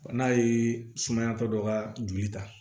N'a ye sumayatɔ dɔ kaa joli ta